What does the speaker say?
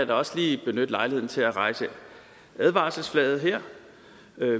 da også lige benytte lejligheden til at rejse advarselsflaget her